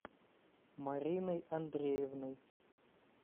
мариной андреевной